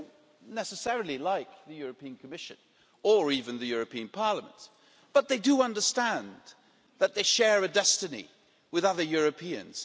They don't necessarily like the European Commission, or even the European Parliament, but they do understand that they share a destiny with other Europeans.